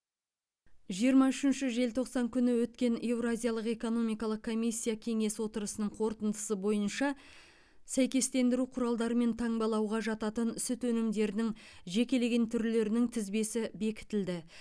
жиырма үшінші желтоқсан күні өткен еуразиялық экономикалық комиссия кеңесі отырысының қорытындысы бойынша сәйкестендіру құралдарымен таңбалауға жататын сүт өнімдерінің жекелеген түрлерінің тізбесі бекітілді